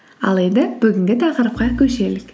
ал енді бүгінгі тақырыпқа көшелік